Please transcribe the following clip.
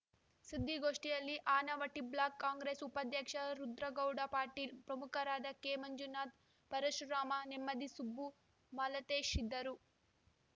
ಸುದ್ದಿಗೋಷ್ಠಿಯಲ್ಲಿ ಆನವಟ್ಟಿಬ್ಲಾಕ್‌ ಕಾಂಗ್ರೆಸ್‌ ಉಪಾಧ್ಯಕ್ಷ ರುದ್ರಗೌಡ ಪಾಟೀಲ್‌ ಪ್ರಮುಖರಾದ ಕೆಮಂಜುನಾಥ್‌ ಪರಶುರಾಮ ನೆಮ್ಮದಿ ಸುಬ್ಬು ಮಾಲತೇಶ್‌ ಇದ್ದರು